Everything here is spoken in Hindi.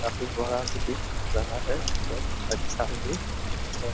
काफी बड़ा भी दिख रहा है और अच्छा भी हैं।